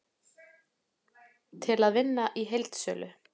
Til að vinna í heildsölu